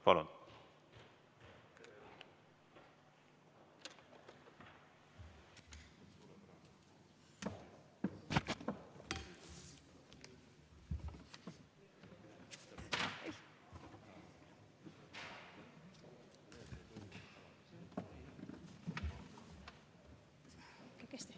Palun!